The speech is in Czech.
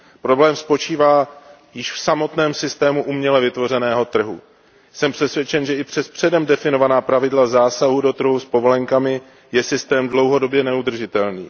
Problém spočívá již v samotném systému uměle vytvořeného trhu. Jsem přesvědčen, že i přes předem definovaná pravidla zásahu do trhu s povolenkami je systém dlouhodobě neudržitelný.